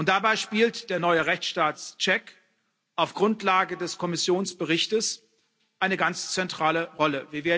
Dabei spielt der neue Rechtsstaatscheck auf Grundlage des Kommissionsberichts eine ganz zentrale Rolle.